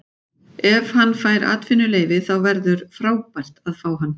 Ef hann fær atvinnuleyfi þá verður frábært að fá hann.